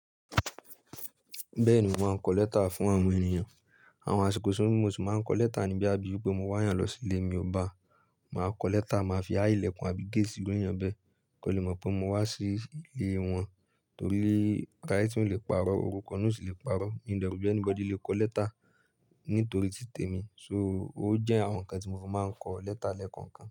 Bẹ́ẹ̀ni mò ń kọ lẹ́tà fún àwọn ènìyàn. Àwọn àsìkò sóòrú mò sì máa ń kọ lẹ́tà níbí àbí bí mo wá yàn lọ sí ilé mi ọ ba, màá kọ lẹ́tà, màá fi há ìlẹ̀kùn àbí gate n bẹ́ẹ̀ kó lè mọ̀ pé mo wá sí ilé wọn torí writing ò lè parọ́, orúkọ naa ò sì lè parọ́, Mi de ro pe anybody lè kọ lẹ́tà nítorí tí tèmi. So ó jẹ́ àwọn ǹkan tí mo fi máa ń kọ lẹ́tà lẹ́ẹ̀kọ̀kan.